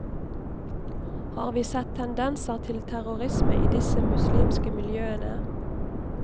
Har vi sett tendenser til terrorisme i disse muslimske miljøene?